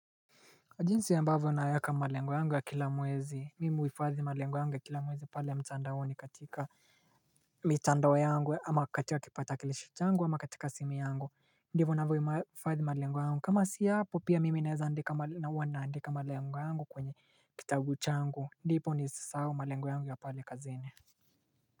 Jinsi ambavyo naeka malengo yangu ya kila mwezi, mimi uifadhi malengo yangu ya kila mwezi pale ya mtandaoni katika mitandao yangu ama katika kipatakilishi changu ama katika simu yangu, ndivo navyo ifadhi malengo yangu, kama sia hapo pia mimi naeza andika na uwa naandika malengo yangu kwenye kitabu changu, ndipo nisisau malengo yangu ya pale kazini.